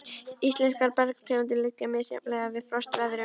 Íslenskar bergtegundir liggja misjafnlega vel við frostveðrun.